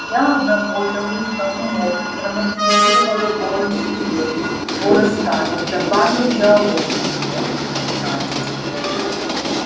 я обработал их как мог драматизировал голый скелет её рассказов добавил диалоги и мелкие детали